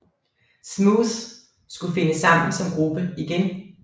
Smooth skulle finde sammen som gruppe igen